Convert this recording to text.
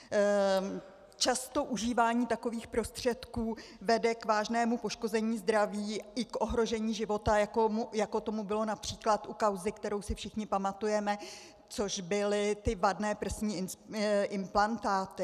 Často užívání takových prostředků vede k vážnému poškození zdraví i k ohrožení života, jako tomu bylo například u kauzy, kterou si všichni pamatujeme, což byly ty vadné prsní implantáty.